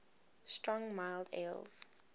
strong mild ales